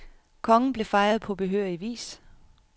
Kongen blev fejret på behørig vis.